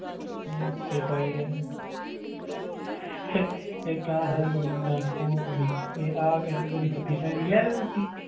ਆਹ ਉੱਤੇ ਪਾਈ ਵੀ ਹੈ ਨਾ ਇਕ ਆਹ ਸਾਲੀ ਬੜੀ ਭੌਂਕਦੀ ਤੇ ਆਹ ਕਹਿੰਦੇ ਤੇਰੀ ਫੁੱਦੀ ਲੈਣੀ ਲੈ ਲਓ ਫੁੱਦੀ